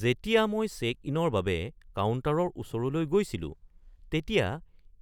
যেতিয়া মই চেক-ইনৰ বাবে কাউণ্টাৰৰ ওচৰলৈ গৈছিলো তেতিয়া